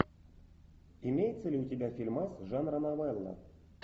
имеется ли у тебя фильмас жанра новелла